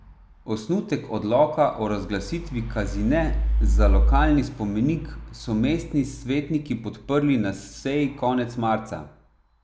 Osnutek odloka o razglasitvi Kazine za lokalni spomenik so mestni svetniki podprli na seji konec marca.